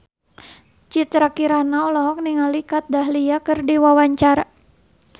Citra Kirana olohok ningali Kat Dahlia keur diwawancara